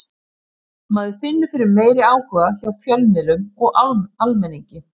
Maður finnur fyrir meiri áhuga hjá fjölmiðlum og almenningi.